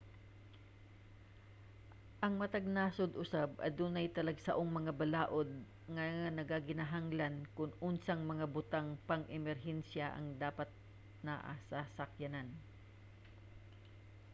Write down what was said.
ang matag nasud usab adunay talagsaong mga balaod nga nagakinahanglan kon unsang mga butang pang-emerhensiya ang dapat naa sa sakyanan